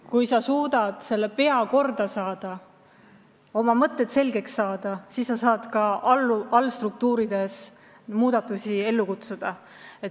Kui pea korda saada, oma mõtted selgeks saada, siis saame ka allstruktuurides muudatusi ellu kutsuda.